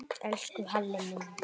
Elsku Halli minn.